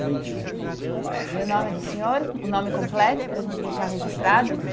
Vinte e um. E o nome do senhor, o nome completo, para a gente deixar registrado?